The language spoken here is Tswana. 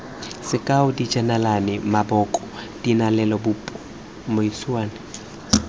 sekao dijenale maboko dianelalebopo mmuisano